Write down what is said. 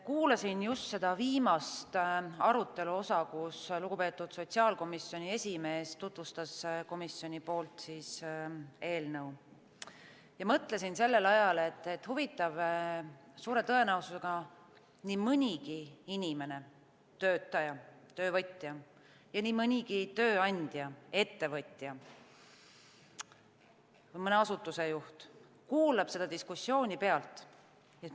Kuulasin just seda viimast arutelu osa, kus lugupeetud sotsiaalkomisjoni esimees tutvustas komisjoni nimel eelnõu, ja mõtlesin, et suure tõenäosusega nii mõnigi inimene, töötaja, töövõtja ja nii mõnigi tööandja, ettevõtja, mõne asutuse juht kuulab seda diskussiooni.